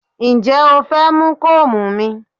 Ǹjẹ́ o fẹ́ mú kóòmù mi?